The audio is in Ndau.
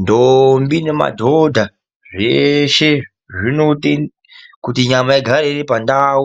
Ndombi nemadhodha, zveshe kuti nyama igare iri pandau